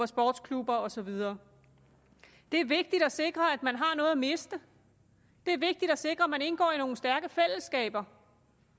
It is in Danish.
sportsklubber og så videre det er vigtigt at sikre at man har noget at miste det er vigtigt at sikre at man indgår i nogle stærke fællesskaber